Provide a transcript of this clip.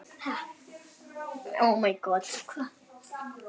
Hann nötrar.